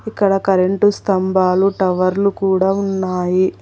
ఇక్కడ కరెంటు స్తంభాలు టవర్లు కూడా ఉన్నాయి.